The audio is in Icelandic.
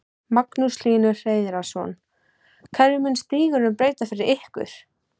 Magnús Hlynur Hreiðarsson: Hverju mun stígurinn breyta fyrir ykkur?